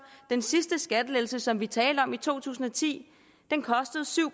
den sidste skattelettelse som vi talte om i to tusind og ti kostede syv